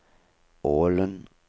Ålen